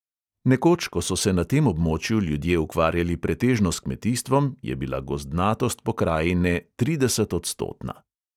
Nekoč, ko so se na tem območju ljudje ukvarjali pretežno s kmetijstvom, je bila gozdnatost pokrajine tridesetodstotna.